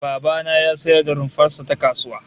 Baba na ya sayar da rumfar sa ta kasuwa